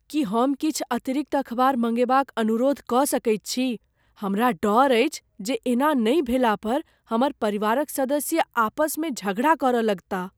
की हम किछु अतिरिक्त अखबार मङ्गेबाक अनुरोध कऽ सकैत छी? हमरा डर अछि जे एना नहि भेलापर हमर परिवारक सदस्य आपसमे झगड़ा करऽ लगताह।